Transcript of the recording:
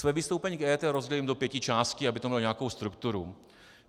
Své vystoupení k EET rozdělím do pěti částí, aby to mělo nějakou strukturu.